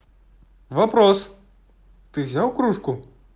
вопрос ты взял кружку